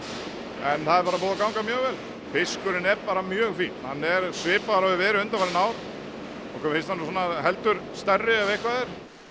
en það er bara búið að ganga mjög vel fiskurinn er bara mjög fínn hann er svipaður og hefur verið undanfarin ár okkur finnst hann nú svona heldur stærri ef eitthvað er